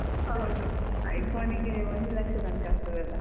ಹೌದು iPhone ಗೆ ಒಂದು ಲಕ್ಷ ತನ್ಕ ಆಗ್ತದಲ್ಲ.